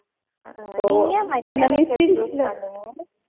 நீங்க ஏன் mechanical choose பண்ணீங்க?